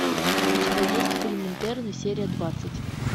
у тебя есть фильм интерны серия двадцать